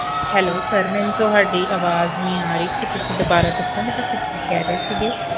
Hellosir ਮੈਨੂੰ ਤੁਹਾਡੀ ਅਵਾਜ ਨਹੀਂ ਆ ਰਹੀ ਕੀ ਤੁਸੀਂ ਦੁਬਾਰਾ ਦਸੋਂਗੇ ਤੁਸੀਂ ਕੀ ਕਹਿ ਰਹੇ ਹੋ